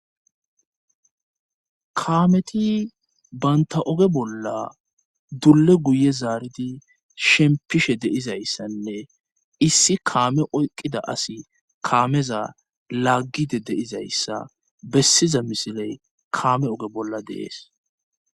kaameti baynta oge bolla dulle guye zaaridi shempishe deizayssanne issi kaame oyqqida asi kaameza laaggide deizayssa bessiza misiley kaame oge bolla deees